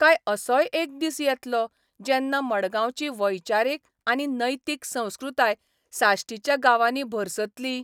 काय असोय एक दीस येतलो, जेन्ना मडगांवची वैचारीक आनी नैतीक संस्कृताय साश्टीच्या गांवांनी भरसतली?